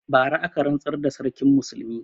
Bara aka rantsar da Sarkin Musulmi.